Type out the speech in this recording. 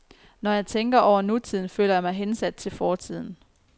Når jeg tænker over nutiden, føler jeg mig hensat til fortiden.